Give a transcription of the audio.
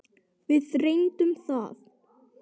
Við reyndum það.